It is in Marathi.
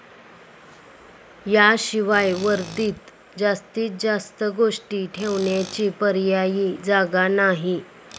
याशिवाय वर्दीत जास्तीत जास्त गोष्टी ठेवण्याची पर्यायी जागा नाही.